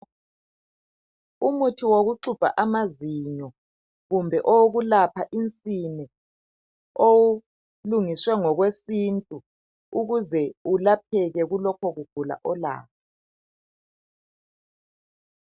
Umuthi wokuxubha amazinyo kumbe owokulapha insini, olungiswe ngokwesintu ukuze ulapheke kulokho kugula olakho.